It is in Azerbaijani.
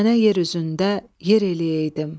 Sənə yer üzündə yer eləyəydim.